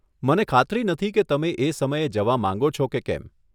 મને ખાતરી નથી કે તમે એ સમયે જવા માંગો છો કે કેમ.